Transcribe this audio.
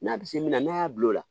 N'a bi se min na ne y'a bil'o la